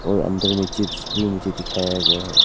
और अंदर में चिप्स भी मुझे दिखाया गया है।